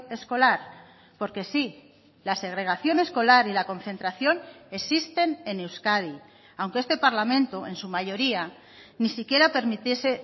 escolar porque sí la segregación escolar y la concentración existen en euskadi aunque este parlamento en su mayoría ni siquiera permitiese